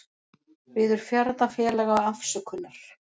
Biður ferðafélaga afsökunar